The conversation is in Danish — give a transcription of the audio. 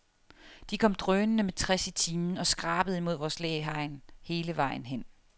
De kom drønende med tres i timen og skrabede imod vores læhegn hele vejen hen.